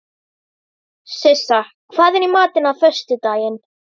Sissa, hvað er í matinn á föstudaginn?